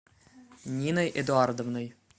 ниной эдуардовной